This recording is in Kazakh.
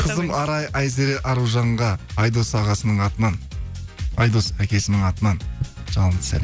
қызым арай айзере аружанға айдос ағасының атынан айдос әкесінің атынан жалынды